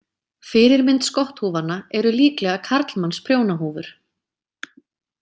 Fyrirmynd skotthúfanna eru líklega karlmannsprjónahúfur.